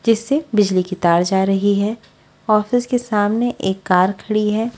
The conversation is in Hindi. जिससे बिजली की तार जा रही है ऑफिस के सामने एक कार खड़ी है।